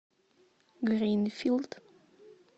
гринфилд